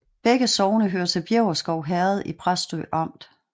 Begge sogne hørte til Bjæverskov Herred i Præstø Amt